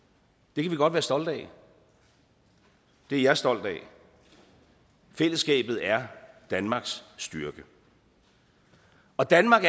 det kan vi godt være stolte af det er jeg stolt af fællesskabet er danmarks styrke og danmark